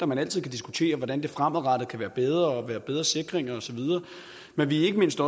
man altid kan diskutere hvordan det fremadrettet kan blive bedre være bedre sikringer og så videre men vi er ikke mindst